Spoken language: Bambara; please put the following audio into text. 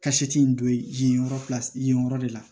Ka in don yen yɔrɔ kilasi yen yen yɔrɔ de la